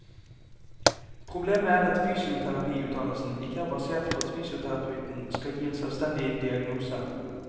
Problemet er at fysioterapiutdannelsen ikke er basert på at fysioterapeuten skal gi en selvstendig diagnose.